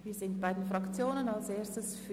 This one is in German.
Wir kommen zu den Fraktionssprechenden.